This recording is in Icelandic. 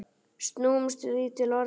Snúumst því til varnar!